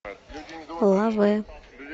лаве